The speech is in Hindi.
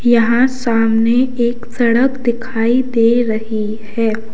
यहां सामने एक सड़क दिखाई दे रही है।